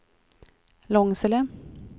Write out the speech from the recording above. Långsele